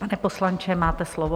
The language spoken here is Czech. Pane poslanče, máte slovo.